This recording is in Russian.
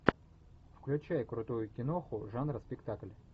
включай крутую киноху жанра спектакль